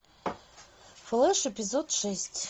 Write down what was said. флэш эпизод шесть